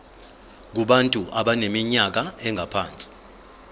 kubantu abaneminyaka engaphansi